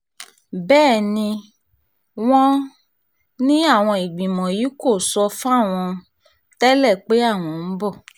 bẹ́ẹ̀ ni wọ́n ní àwọn ìgbìmọ̀ yìí kò sọ fáwọn pé àwọn ń bọ̀